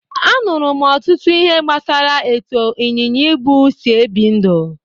Anụrụ m ọtụtụ ihe gbasara etu ịnyịnya ibu si ebi ndụ